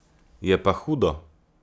Je pa hudo.